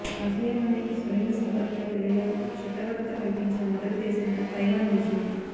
ఆసీయాలోనే స్వలింగ సంపర్కుల పెళ్లిలకు చట్టబద్దత కల్పించిన మొదటి దేశంగా తైవాన్ నిలిచింది